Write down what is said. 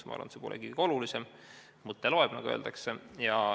Ma arvan, et see ei ole kõige olulisem, mõte loeb, nagu öeldakse.